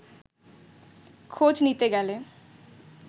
খোঁজ নিতে গেলে